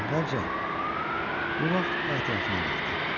Amma əvvəlcə, bu vaxt o ətrafına baxdı.